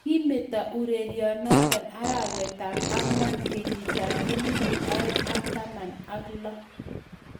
Kimeto urerionoto arawetab ang'wan kenyitab elebu oeng ak taman ak lo